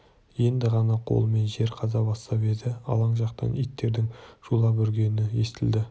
енді ғана қолымен жер қаза бастап еді алаң жақтан иттердің шулап үргені естілді